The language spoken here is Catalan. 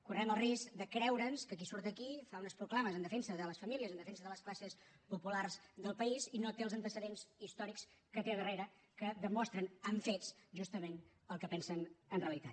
correm el risc de creure’ns que qui surt aquí fa unes proclames en defensa de les famílies en defensa de les classes populars del país i no té els antecedents històrics que té al darrere que demostren amb fets justament el que pensen en realitat